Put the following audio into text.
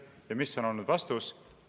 Ja mis on olnud vastus?